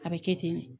A bɛ kɛ ten de